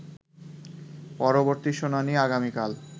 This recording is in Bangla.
পরবর্তী শুনানি আগামীকাল